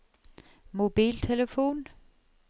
mobiltelefon